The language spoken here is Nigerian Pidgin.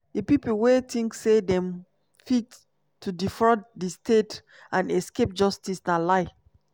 "di pipo wia tink say dem fit to defraud di state and escape justice na lie.